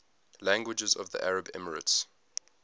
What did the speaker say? languages of the united arab emirates